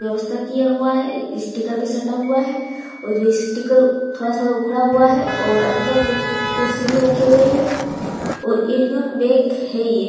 व्यवस्था किया हुआ है स्टिकर भी सट्टा हुआ है और ये स्टिकर थोड़ा-थोड़ा उखड़ा हुआ है और अंदर में कुर्सी भी रखे हुए है और यूनियन बैंक है ये।